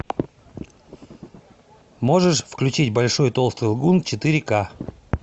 можешь включить большой толстый лгун четыре ка